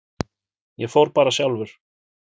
Ég fór bara sjálfur.